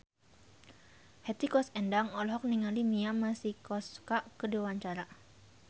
Hetty Koes Endang olohok ningali Mia Masikowska keur diwawancara